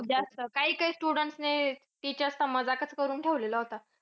खूप जास्त. काही-काही students ने teachers चा करून ठेवलेला होता.